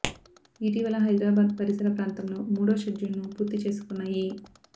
ఇటీవల హైదరాబాద్ పరిసర్ ప్రాంతాలో మూడో షెడ్యూల్ ను పూర్తి చేసుకున్న ఈ